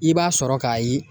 I b'a sɔrɔ k'a ye